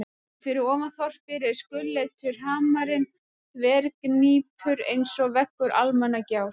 Og fyrir ofan þorpið reis gulleitur hamarinn þverhníptur einsog veggur Almannagjár.